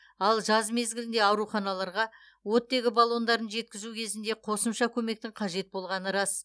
ал жаз мезгілінде ауруханаларға оттегі баллондарын жеткізу кезінде қосымша көмектің қажет болғаны рас